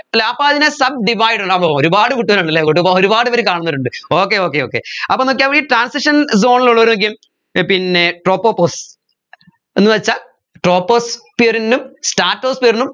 അല്ലെ അപ്പോ അതിനെ sub divided ആപ്പോ ഒരുപാട് കുട്ടികളുണ്ടല്ലേ അങ്ങോട്ടിപ്പോ ഒരുപാട് പേർ കാണുന്നുന്നവരുണ്ട് okay okay okay അപ്പോ നോക്കിയേ ഈ transition zone ൽ ഉള്ളവരൊക്കെ ഏർ പിന്നെ tropopause എന്നുവെച്ചാൽ troposphere നും stratosphere നും